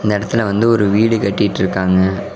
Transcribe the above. இந்த எடத்துல வந்து ஒரு வீடு கட்டிட்டு இருகாங்க.